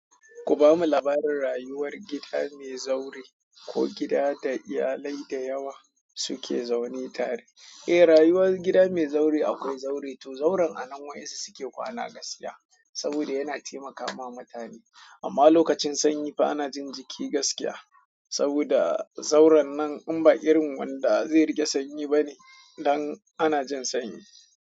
Ku bamu labarin rayuwar gida mai zaure ko gida da iyalai da yawa suke zaune tare. Eh, rayuwar gida mai zaure akwai zaure to zauren a nan waɗansu suke kwana gaskiya saboda yana taimakawa mutane. Amma lokacin sanyi fa ana jin jiki gaskiya saboda zauren nan in ba irin wanda zai rage sanyi ba ne dan ana jin sanyi.